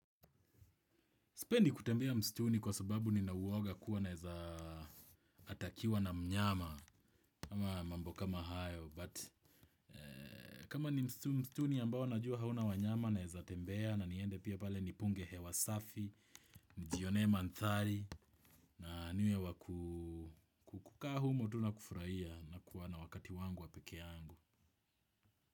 Sipendi kutembea mstuni kwa sababu ninauwoga kuwa naeza atakiwa na mnyama. Kama mambo kama hayo. Kama ni mstuni ambao najua hauna wanyama naeza tembea na niende pia pale nipunge hewa safi. Nijione manthari. Na niwe wa kukukaa humo tu nakufraia na kuwana wakati wangu wapeke yangu.